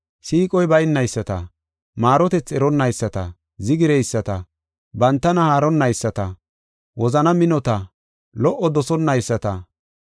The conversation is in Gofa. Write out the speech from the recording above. siiqoy baynayisata, maarotethi eronnayisata, zigireyisata, bantana haaronnayisata, wozana minota, lo77o dosonnayisata,